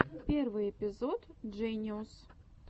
первый эпизод джениус